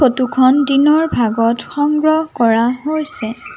ফটোখন দিনৰ ভাগত সংগ্ৰহ কৰা হৈছে।